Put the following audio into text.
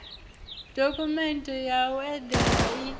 dokhumenthe ya u enda i